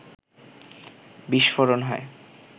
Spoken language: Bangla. বিস্ফোরণ হয়